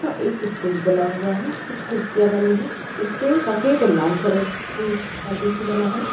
एक स्टेज बना हुआ है| कुछ कुर्सिया बनी है| स्टेज सफेद ऑर लाल कलर कि परदे से बना है।